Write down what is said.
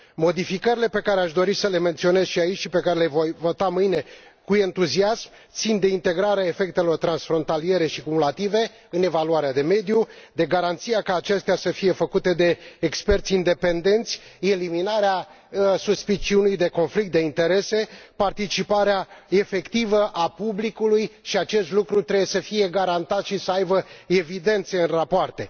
Modificările pe care aș dori să le menționez și aici și pe care le voi vota mâine cu entuziasm țin de integrarea efectelor transfrontaliere și cumulative în evaluarea de mediu, de garanția ca acestea să fie făcute de experți independenți, eliminarea suspiciunii de conflict de interese, participarea efectivă a publicului, iar acest lucru trebuie să fie garantat și să aibă evidențe în rapoarte.